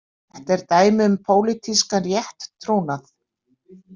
Þetta er dæmi um pólitískan rétttrúnað.